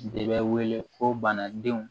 De bɛ wele ko banadenw